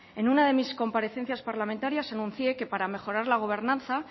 en una de mis comparecencias parlamentarias enuncié que para mejorar la gobernanza